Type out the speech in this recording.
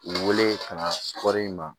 U wele ka na kɔɔri ma